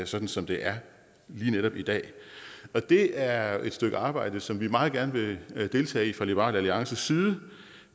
sådan som det er lige netop i dag det er et stykke arbejde som vi meget gerne vil deltage i fra liberal alliances side